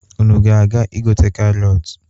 Unu ga-aga igote karọtụ?